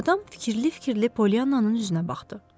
Adam fikirli-fikirli Pollyannanın üzünə baxdı.